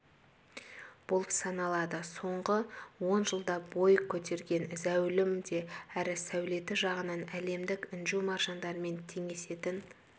болып саналады соңғы он жылда бой көтерген зәулім де әрі сәулеті жағынан әлемдік інжу-маржандармен теңесетін